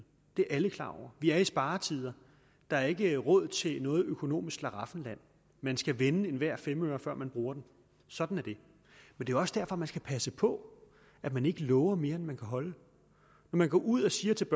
det er alle klar over vi er i sparetider der er ikke råd til noget økonomisk slaraffenland man skal vende hver en femøre før man bruger den sådan er det det er også derfor man skal passe på at man ikke lover mere end man kan holde når man går ud og siger til